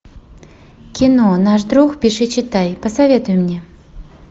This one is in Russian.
кино наш друг пиши читай посоветуй мне